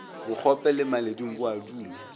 bokgope le maledung bo a